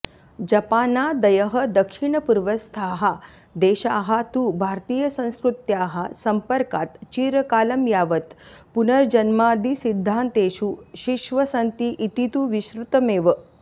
जपानादयः दक्षिणपूर्वस्थाः देशाः तु भारतीयसंस्कृत्याः संपर्कात् चिरकालं यावत् पुनर्जन्मादिसिध्दान्तेषु शिश्वसन्ति इति तु विश्रुतमेव